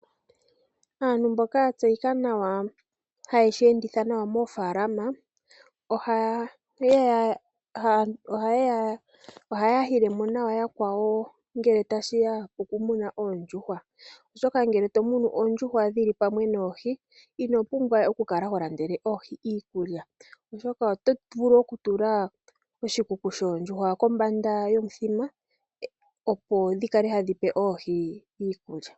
Aantu mboka ya tseyika haye shi enditha nawa moofalama ohaya yile mo nawa yakwawo, ngele tashi ya pokumuna oondjuhwa. Oshoka ngele to munu oondjuhwa dhi li pamwe noohi, ino pumbwa we wu kale ho landele oohi iikulya. Oshoka oto vulu okutula oshikuku shoondjuhwa kombanda yuuthima, opo dhi kale ta dhi pe oohi iikulya.